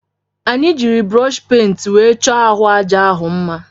Anyị jiri brọshi pent were chọọ ahụ aja ahụ mma.